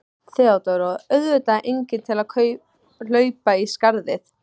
THEODÓRA: Og auðvitað enginn til að hlaupa í skarðið.